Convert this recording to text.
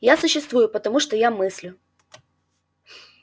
я существую потому что я мыслю